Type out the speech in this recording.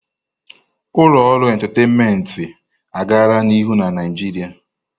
Ụlọ ọrụ entataịnmentị agala n'ihu na Naịjirịa.